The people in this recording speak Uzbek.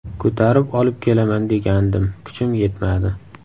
Ko‘tarib olib kelaman degandim kuchim yetmadi.